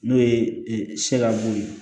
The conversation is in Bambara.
N'o ye se ka b'o ye